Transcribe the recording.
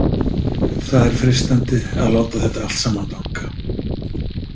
Það er freistandi að láta þetta allt saman danka.